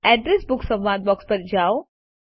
address book સંવાદ box પર જાઓ